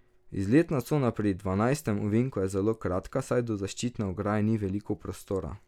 Izletna cona pri dvanajstem ovinku je zelo kratka, saj do zaščitne ograje ni veliko prostora.